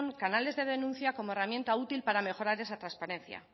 canales de denuncia como herramienta útil para mejorar esa transparencia